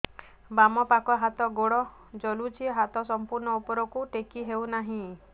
ବାମପାଖ ହାତ ଗୋଡ଼ ଜଳୁଛି ହାତ ସଂପୂର୍ଣ୍ଣ ଉପରକୁ ଟେକି ହେଉନାହିଁ